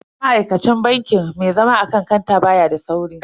Ma'aikacin bankin mai zama akan kanta baya da sauri.